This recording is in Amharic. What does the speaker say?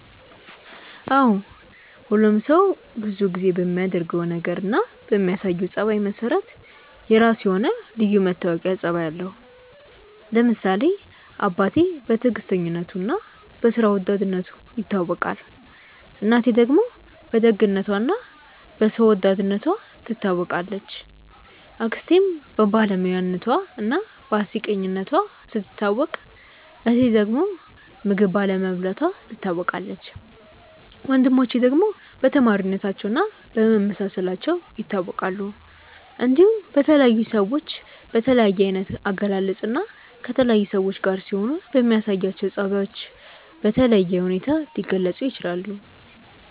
አዎ ሁሉም ሰው ብዙ ጊዜ በሚያደርገው ነገር እና በሚያሳየው ጸባይ መሰረት የራሱ የሆነ ልዩ መታወቂያ ጸባይ አለው። ለምሳሌ አባቴ በትዕግስተኝነቱ እና በስራ ወዳድነቱ ይታወቃል፣ እናቴ ደግሞ በደግነቷ እና በሰው ወዳድነቷ ትታወቃለች፣ አክስቴም በባለሙያነቷ እና በአስቂኝነቷ ስትታወቅ እህቴ ዳግም ምግብ ባለመብላቷ ትታወቃለች፣ ወንድሞቼ ደግሞ በተማሪነታቸው እና በመመሳሰላቸው ይታወቃሉ። እንዲሁም በተለያዩ ሰዎች በተለያየ አይነት አገላለጽ እና ከተለያዩ ሰዎች ጋር ሲሆኑ በሚያሳዩአቸው ጸባዮች በተለየ ሁኔታ ሊገለጹ ይችላል።